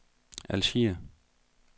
Algier